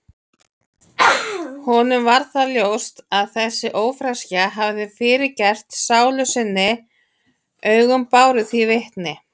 Honum varð ljóst að þessi ófreskja hafði fyrirgert sálu sinni, augun báru því vitni.